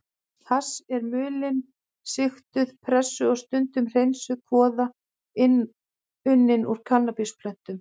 Hass er mulin, sigtuð, pressuð og stundum hreinsuð kvoða unnin úr kannabisplöntum.